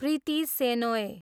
Preeti Shenoy